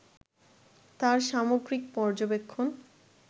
তাঁর সামগ্রিক পর্যবেক্ষণ